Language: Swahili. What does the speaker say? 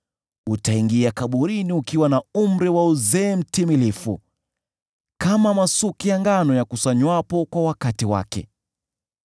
Utaingia kaburini ukiwa na umri wa uzee mtimilifu, kama masuke ya ngano yakusanywapo kwa wakati wake.